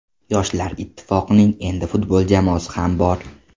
Yoshlar Ittifoqining endi futbol jamoasi ham bor.